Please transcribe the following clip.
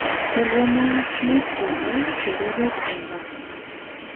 Bo komonut kebai chererok en lang'at.